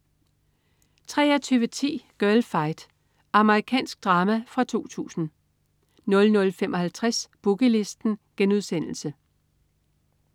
23.10 Girlfight. Amerikansk drama fra 2000 00.55 Boogie Listen*